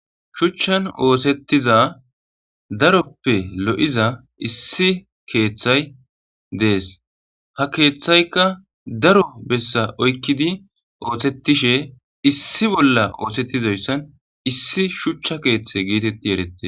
shuchchan oosettiza daroppe lo7iza issi keeththay dees ha keeththaykka daro bessa oykkidi ooththetishe issi bolla oosettizoyssan issi shuchcha keeththe gietetti erette